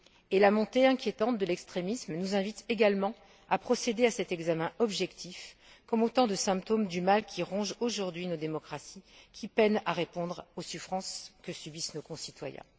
Et la montée inquiétante de l'extrémisme nous invite également à procéder à cet examen objectif comme autant de symptômes du mal qui ronge aujourd'hui nos démocraties, qui peinent à répondre aux souffrances que subissent nos concitoyens.